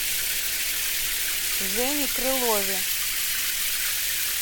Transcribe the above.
жене крылове